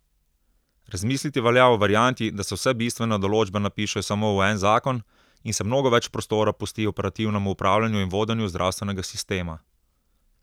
Razmisliti velja o varianti, da se vse bistvene določbe napišejo samo v en zakon in se mnogo več prostora pusti operativnemu upravljanju in vodenju zdravstvenega sistema.